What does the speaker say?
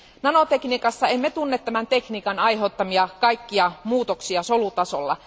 Nanotekniikassa emme tunne tekniikan aiheuttamia kaikkia muutoksia solutasolla.